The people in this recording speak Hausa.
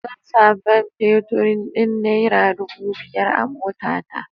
Zan sa man feturin din nera dubu biyar a motata.